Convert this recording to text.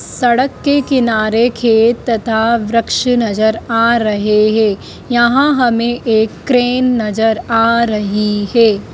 सड़क के किनारे खेत तथा वृक्ष नजर आ रहे हैं यहां हमें एक क्रेन नजर आ रही है।